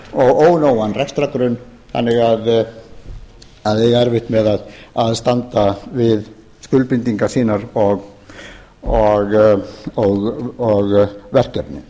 og ónógan rekstrargrunn þannig að þeir eiga erfitt með að standa við skuldbindingar sínar og verkefni